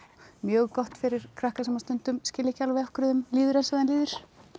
mjög gott fyrir krakka sem stundum skilja ekki alveg af hverju þeim líður eins og þeim líður